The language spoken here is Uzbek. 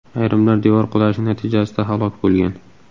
Ayrimlar devor qulashi natijasida halok bo‘lgan.